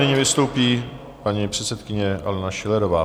Nyní vystoupí paní předsedkyně Alena Schillerová.